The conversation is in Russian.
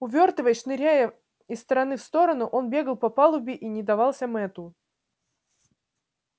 увёртываясь шныряя из стороны в сторону он бегал по палубе и не давался мэтту